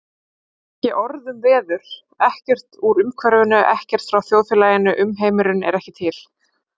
Ekki orð um veður, ekkert úr umhverfinu, ekkert frá þjóðfélaginu, umheimurinn ekki til.